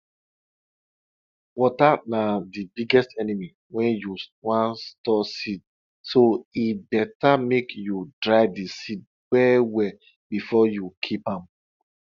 water na de biggest enemy wen you wan store seed so e beta make you dry di seed well well before you keep am